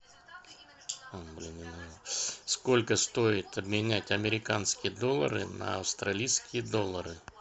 сколько стоит обменять американские доллары на австралийские доллары